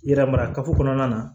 Yɛrɛ mara kafo kɔnɔna na